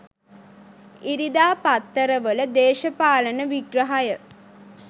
ඉරිදා පත්තරවල දේශපාලන විග්‍රහය